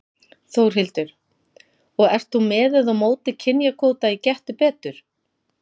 Þórhildur: Og ert þú með eða á móti kynjakvóta í Gettu betur?